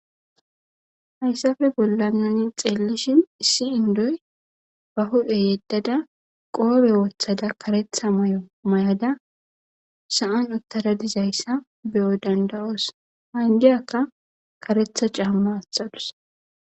hayssafe bollanani xeellishin issi indoy ba hudhe yeddada qoobe ooththada karetha may7o mayada sa7an uttara dizayssa beyo danda7oos ha indiyakka karetha caamma axalus